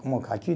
Como caqui.